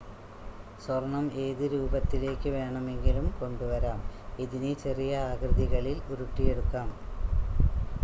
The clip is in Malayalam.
സ്വർണ്ണം ഏത് രൂപത്തിലേക്ക് വേണമെങ്കിലും കൊണ്ടുവരാം ഇതിനെ ചെറിയ ആകൃതികളിൽ ഉരുട്ടിയെടുക്കാം